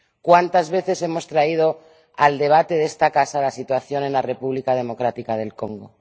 ¿Cuántas veces hemos traído al debate de esta casa la situación en la República Democrática del Congo?